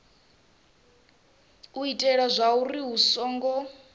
u itela zwauri hu songo